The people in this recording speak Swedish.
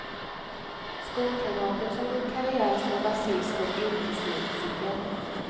Skolkamraten som gjort karriär som basist och yrkesmusiker.